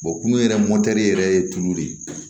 kunun yɛrɛ mɔtɛri yɛrɛ ye tulu de ye